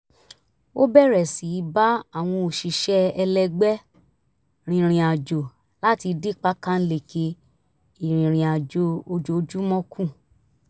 ó bẹ̀rẹ̀ sí í bá àwọn òṣìṣẹ́ ẹlẹgbẹ́ rìnrìn àjò láti dín pákáǹleke ìrìnrìn àjò ojoojúmọ́ kù